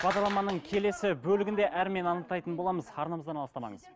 бағдарламаның келесі бөлігінде әрмен анықтайтын боламыз арнамыздан алыстамаңыз